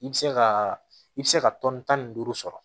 I bɛ se ka i bɛ se ka tɔni tan ni duuru sɔrɔ